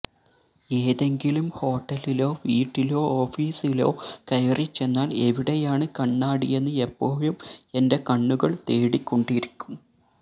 ഏതെങ്കിലും ഹോട്ടലിലോ വീട്ടിലോ ഓഫീസിലോ കയറിച്ചെന്നാല് എവിടെയാണ് കണ്ണാടിയെന്ന് എപ്പോഴും എന്റെ കണ്ണുകള് തേടിക്കൊണ്ടിരിക്കും